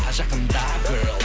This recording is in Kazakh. жақында гёрл